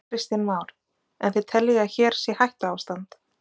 Kristján Már: En þið teljið að hér sé hættuástand?